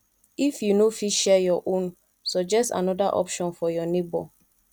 if you no fit share your own suggest another option for your neighbor